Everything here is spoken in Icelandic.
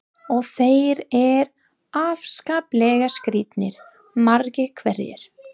Og þeir eru afskaplega skrítnir, margir hverjir.